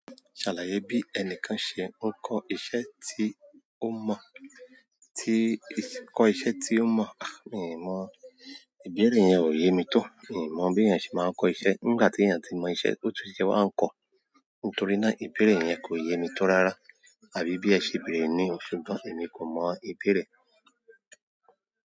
Ṣàlàyé bí ẹnìkan ṣe ń kọ́ iṣẹ́ tí ó mọ̀. Iṣẹ́ tí ó mọ̀. Miì mọ. Ìbéèrè yẹn ò yé mi tó. Mi ò mọ̀ bí èèyàn ṣe máa ń kọ́ iṣẹ́. Nígbà tí èèyàn tí mọ iṣẹ́, ó tún ṣe wá ń kọ. Nítorí náà ìbéèrè yẹn kò yé mi tó rárá. Àbí bí ẹ ṣe bèèrè ni o, ṣùgbọ́n èmi kò mọ ìbéèrè.